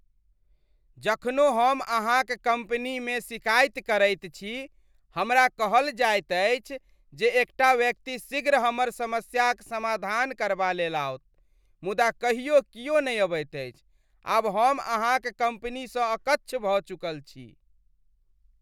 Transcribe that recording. जखनो हम अहाँक कम्पनीमे शिकायत करैत छी, हमरा कहल जायत अछि जे एकटा व्यक्ति शीघ्र हमर समस्याक समाधान करबा लेल आओत, मुदा कहियो कियो नहि अबैत अछि, आब हम अहाँक कम्पनीसँ अकच्छ भऽ चुकल छी।